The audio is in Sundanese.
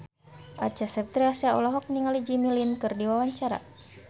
Acha Septriasa olohok ningali Jimmy Lin keur diwawancara